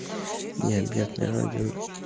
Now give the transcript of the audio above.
необъятная родина